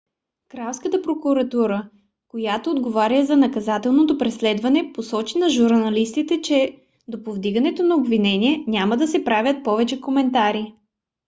кралската прокуратура която отговаря за наказателното преследване посочи на журналистите че до повдигането на обвинение няма да се правят повече коментари